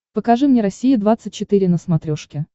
покажи мне россия двадцать четыре на смотрешке